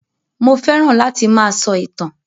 Mo fẹ́ràn láti máa sọ ìtàn